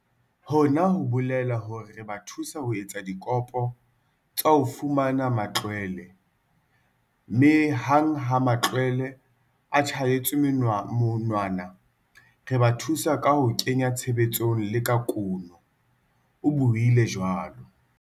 "Hona ho bolela hore re ba thusa ho etsa dikopo tsa ho fumana matlwele, mme hang ha matlwele a tjhaetswe monwana, re ba thusa ka ho ke nya tshebetsong le ka kuno," o buile jwalo.